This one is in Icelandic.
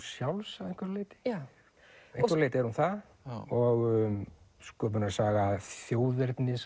sjálfs að einhverju leyti að einhverju leyti er hún það og sköpunarsaga þjóðernis